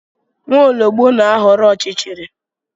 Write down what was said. Nwaologb na-ahọrọ ọchịchịrị